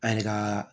An yɛrɛ ka